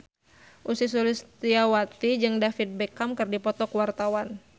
Ussy Sulistyawati jeung David Beckham keur dipoto ku wartawan